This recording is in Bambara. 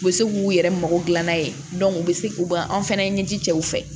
U bɛ se k'u yɛrɛ mago dilan n'a ye bɛ se u ba an fɛnɛ ɲɛji cɛw fɛ